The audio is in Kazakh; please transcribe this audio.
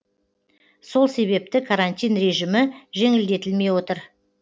сол себепті карантин режимі жеңілдетілмей отыр